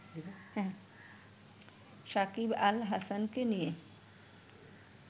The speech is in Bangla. সাকিব আল হাসানকে নিয়ে